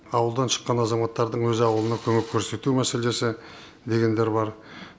ауылдан шыққан азаматтардың өз ауылына көмек көрсету мәселесі дегендер бар